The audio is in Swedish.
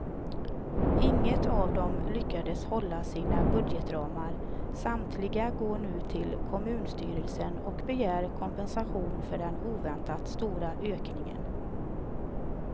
Inget av dem lyckades hålla sina budgetramar, samtliga går nu till kommunstyrelsen och begär kompensation för den oväntat stora ökningen.